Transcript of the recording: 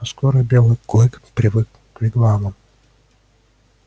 но скоро белый клык привык к вигвамам